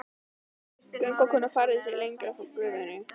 Göngukonan færði sig lengra frá gufunni.